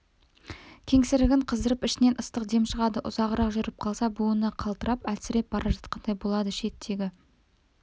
кеңсірігін қыздырып ішінен ыстық дем шығады ұзағырақ жүріп қалса буыны қалтырап әлсіреп бара жатқандай болады шет-шегі